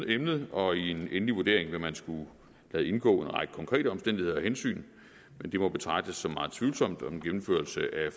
emnet og i en endelig vurdering vil man skulle lade indgå en række konkrete omstændigheder og hensyn men det må betragtes som ret tvivlsomt om en gennemførelse af